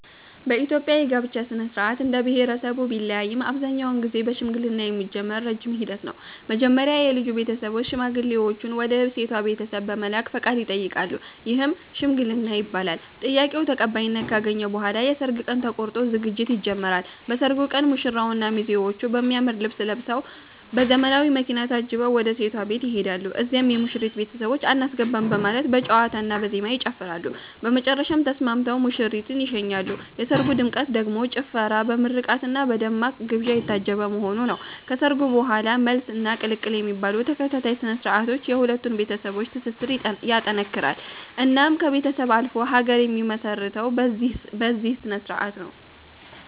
በኢትዮጵያ የጋብቻ ሥነ-ሥርዓት እንደየብሄረሰቡ ቢለያይም አብዛኛውን ጊዜ በሽምግልና የሚጀምር ረጅም ሂደት ነው። መጀመሪያ የልጁ ቤተሰቦች ሽማግሌዎችን ወደ ሴቷ ቤት በመላክ ፈቃድ ይጠይቃሉ፤ ይህም "ሽምግልና" ይባላል። ጥያቄው ተቀባይነት ካገኘ በኋላ የሰርግ ቀን ተቆርጦ ዝግጅት ይጀምራል። በሰርጉ ቀን ሙሽራውና ሚዜዎቹ በሚያምር ልብስ ለብሰዉ፤ በዘመናዊ መኪና ታጅበው ወደ ሴቷ ቤት ይሄዳሉ። እዚያም የሙሽሪት ቤተሰቦች "አናስገባም " በማለት በጨዋታና በዜማ ይጨፍራሉ፤ በመጨረሻም ተስማምተው ሙሽሪትን ይሸኛሉ። የሰርጉ ድምቀት ደግሞ ጭፈራ፣ በምርቃትና በደማቅ ግብዣ የታጀበ መሆኑ ነው። ከሰርጉ በኋላም "መልስ" እና "ቅልቅል" የሚባሉ ተከታታይ ስነ-ስርዓቶች የሁለቱን ቤተሰቦች ትስስር ይጠነክራል። እናም ከቤተሰብ አልፎ ሀገር የሚመሰረተው በዚህ ስነስርዓት ነው